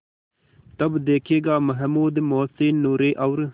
तब देखेगा महमूद मोहसिन नूरे और